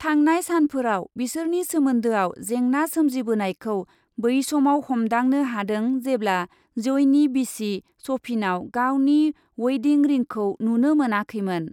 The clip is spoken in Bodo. थांनाय सानफोराव बिसोरनि सोमोन्दोआव जेंना सोमजिबोनायखौ बै समाव हमदांनो हादों जेब्ला जइनि बिसि सफिनाव गावनि वइदिं रिंखौ नुनो मोनाखैमोन। ।